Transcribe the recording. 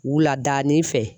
Wuladaani fɛ.